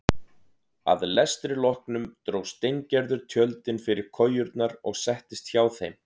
Að lestri loknum dró Steingerður tjöldin fyrir kojurnar og settist hjá þeim.